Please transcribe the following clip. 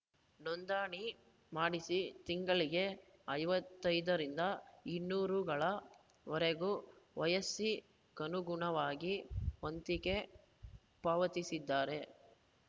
ನೋಂದಣಿ ಮಾಡಿಸಿ ತಿಂಗಳಿಗೆ ಐವತ್ತ್ ಐದರಿಂದ ಇನ್ನೂರು ರುಗಳ ವರೆಗೆ ವಯಸ್ಸಿಗನುಗುಣವಾಗಿ ವಂತಿಕೆ ಪಾವತಿಸಿದರೆ